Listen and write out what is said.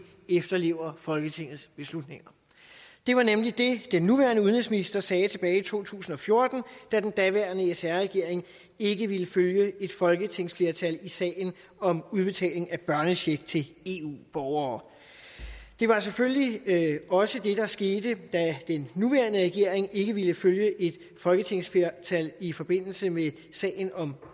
efterlever folketingets beslutninger det var nemlig det den nuværende udenrigsminister sagde tilbage i to tusind og fjorten da den daværende sr regering ikke ville følge et folketingsflertal i sagen om udbetaling af børnecheck til eu borgere det var selvfølgelig også det der skete da den nuværende regering ikke ville følge et folketingsflertal i forbindelse med sagen om